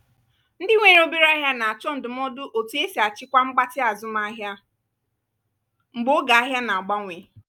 ndị nwere obere ahịa na-achọ ndụmọdụ otú e si achịkwa mgbatị azụmahịa mgbe oge ahia na-agbanwe.